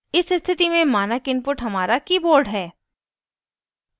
इस स्थिति में मानक input हमारा keyboard है